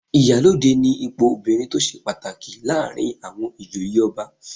Ìyálóde ni ipò obìnrin tó ṣe pàtàkì láàrin àwọn ìjòyè ọba